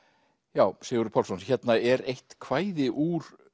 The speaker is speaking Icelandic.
já Sigurður Pálsson hérna er eitt kvæði úr